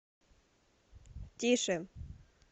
тише